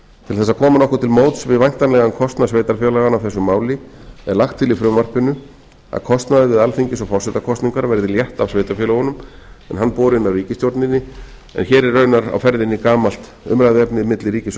til þess að koma nokkuð til móts við væntanlegan kostnað sveitarfélaganna af þessu máli er lagt til í frumvarpinu að kostnaður við alþingis og forsetakosningar verði létt af sveitarfélögunum en hann borinn af ríkisstjórninni en hér er raunar á ferðinni gamalt umræðuefni milli ríkis og